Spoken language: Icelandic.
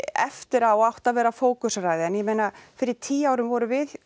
eftir á átt að vera fókuseraðri en ég meina fyrir tíu árum vorum við